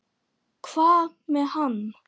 Hvað með hann?